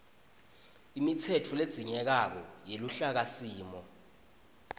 imitsetfo ledzingekako yeluhlakasimo